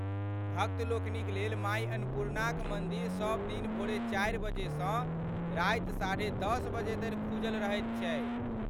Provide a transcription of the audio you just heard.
भक्त लोकनिक लेल माय अन्नपूर्णाक मन्दिर सब दिन भोरे चारि बजे सँ राति साढ़े दस बजे धरि खुजल रहैत छै।